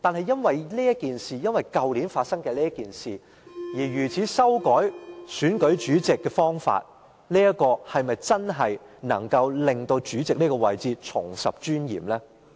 因為去年發生的事情而修改選舉主席的方法，是否真的能令主席這個位置重拾尊嚴？